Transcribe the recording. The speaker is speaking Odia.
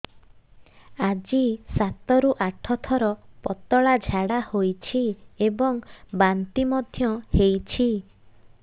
ଆଜି ସାତରୁ ଆଠ ଥର ପତଳା ଝାଡ଼ା ହୋଇଛି ଏବଂ ବାନ୍ତି ମଧ୍ୟ ହେଇଛି